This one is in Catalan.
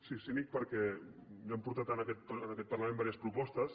sí cínic perquè ja hem portat tant en aquest parlament diverses propostes